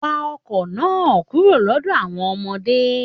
Wá ọkọ náà kúrò lọdọ àwọn ọmọdé!